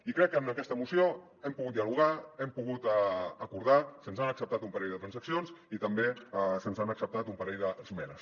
i crec que en aquesta moció hem pogut dialogar hem pogut acordar se’ns han acceptat un parell de transaccions i també se’ns han acceptat un parell d’esmenes